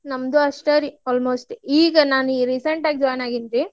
ನಮ್ದು ಅಷ್ಟ ರೀ almost ಈಗ ನಾನು recent ಆಗಿ join ಆಗೇನ್ರಿ.